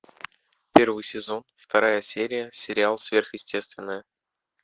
первый сезон вторая серия сериал сверхъестественное